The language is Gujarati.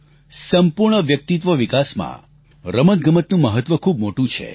સંપૂર્ણ વ્યક્તિત્વ વિકાસમાં રમતગમતનું મહત્વ ખૂબ મોટું છે